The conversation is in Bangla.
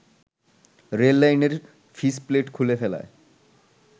রেললাইনের ফিসপ্লেট খুলে ফেলায়